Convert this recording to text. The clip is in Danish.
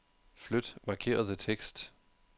Flyt markerede tekst.